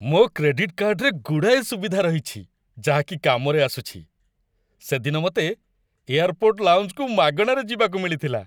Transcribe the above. ମୋ କ୍ରେଡିଟ୍ କାର୍ଡ଼୍‌ରେ ଗୁଡ଼ାଏ ସୁବିଧା ରହିଛି ଯାହାକି କାମରେ ଆସୁଚି । ସେଦିନ ମତେ ଏୟାରପୋର୍ଟ ଲାଉଞ୍ଜକୁ ମାଗଣାରେ ଯିବାକୁ ମିଳିଥିଲା ।